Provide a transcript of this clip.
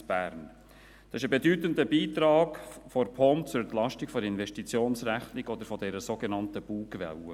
Dies ist ein bedeutender Beitrag der POM zur Entlastung der Investitionsrechnung oder der sogenannten «Bugwelle».